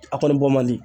A kɔni bɔ man di